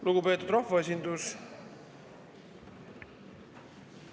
Lugupeetud rahvaesindus!